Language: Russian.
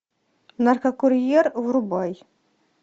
наркокурьер врубай